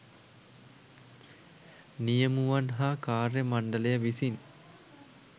නියමුවන් හා කාර්ය මණ්ඩලය විසින්